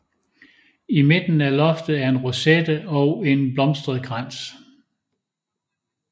I midten af loftet er en rosette og en blomstret krans